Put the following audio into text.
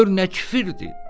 Gör nə kifirdir!”